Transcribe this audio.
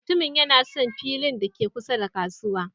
Mutumin yana son filin da ke kusa da kasuwa.